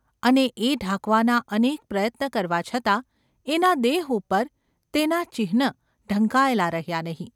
અને એ ઢાંકવાના અનેક પ્રયત્ન કરવા છતાં એના દેહ ઉપર તેનાં ચિહ્ન ઢંકાયેલા રહ્યાં ​ નહિ.